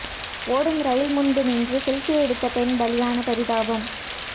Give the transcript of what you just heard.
ஓடும் ரெயில் முன்பு நின்று செல்பி எடுத்த பெண் பலியான பரிதாபம்